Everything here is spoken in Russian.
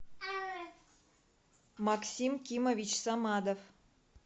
максим кимович самадов